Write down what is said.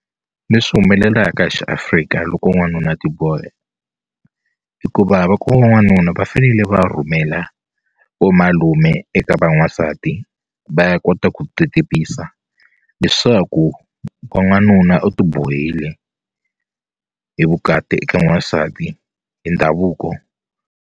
Leswi humelelaka hi xiAfrica loko n'wanuna a tibohe hikuva loko u ri n'wanuna va fanele va rhumela vomalume eka va n'wansati va ya kota ku ti tivisa leswaku wa n'wanuna u ti bohile hi vukati eka n'wansati i ndhavuko.